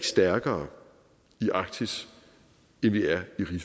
stærkere i arktis end vi er i